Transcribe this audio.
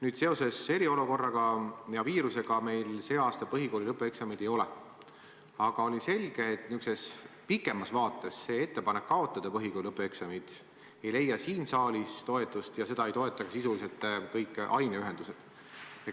Nüüd, seoses eriolukorra ja viirusega meil sel aastal põhikooli lõpueksameid ei ole, aga on ju selge, et pikemas plaanis see ettepanek kaotada põhikooli lõpueksamid siin saalis toetust ei leia ja sisuliselt ei toeta seda ka aineühendused.